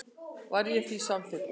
Var ég því samþykkur.